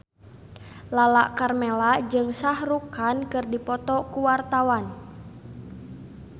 Lala Karmela jeung Shah Rukh Khan keur dipoto ku wartawan